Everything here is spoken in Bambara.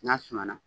N'a suma na